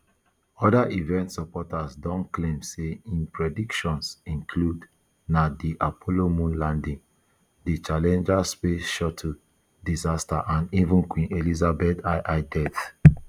oda events supporters don claim say im predictions include na di apollo moon landing di challenger space shuttle disaster and even queen elizabeth ii death